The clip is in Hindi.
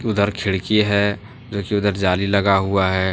उधर खिड़की है जो कि उधर जाली लगा हुआ है।